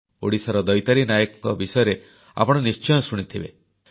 ଓଡ଼ିଶାର ଦୈତାରୀ ନାୟକଙ୍କ ବିଷୟରେ ଆପଣ ନିଶ୍ଚୟ ଶୁଣିଥିବେ